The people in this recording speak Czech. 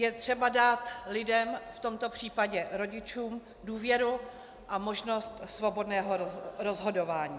Je třeba dát lidem, v tomto případě rodičům, důvěru a možnost svobodného rozhodování.